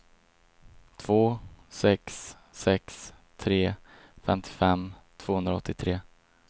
två sex sex tre femtiofem tvåhundraåttiotre